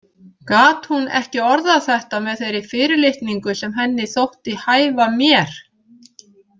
Gat hún ekki orðað þetta með þeirri fyrirlitningu sem henni þótti hæfa mér?